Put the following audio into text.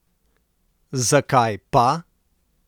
Zakaj pa?